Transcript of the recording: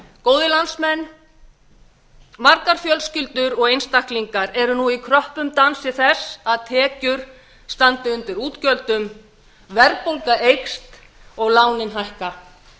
góðir landsmenn margar fjölskyldur og einstaklingar eru nú í kröppum dansi þess að tekjur standi undir útgjöldum verðbólga eykst og lánin hækka